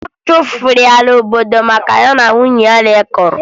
A chụpụrụ ya n'obodo maka na ya na nne ya mekọrọ